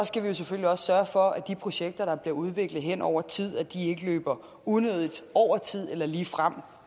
skal vi selvfølgelig også sørge for at de projekter der bliver udviklet hen over tid ikke løber unødigt over tid eller ligefrem